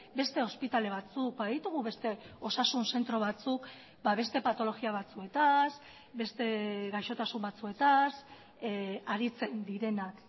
beste ospitale batzuk baditugu beste osasun zentro batzuk beste patologia batzuetaz beste gaixotasun batzuetaz aritzen direnak